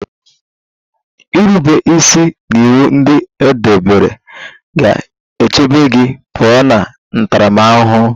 Irube isi n'iwu ndị e debere ga-echebe gị pụọ na ntaramahụhụ